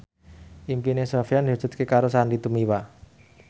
impine Sofyan diwujudke karo Sandy Tumiwa